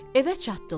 Evə çatdılar.